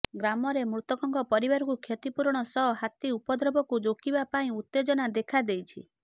ଗ୍ରାମରେ ମୃତକଙ୍କ ପରିବାରକୁ କ୍ଷତିପୂରଣ ସହ ହାତୀ ଉପଦ୍ରବକୁ ରୋକିବା ପାଇଁ ଉତ୍ତେଜନା ଦେଖାଦେଇଛି